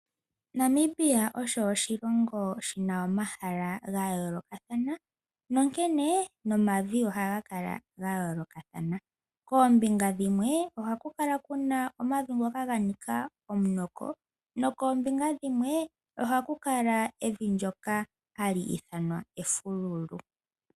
Namibia osho oshilongo oshina omahala ga yoolokathana onkene nomavi ohaga kala ga yoolokathana . Koombinga dhimwe ohaku kala kuna omavi ngoka ga ninga omunoko nokoombinga dhimwe ohaku kala evi ndyoka hali ithanwa efululu.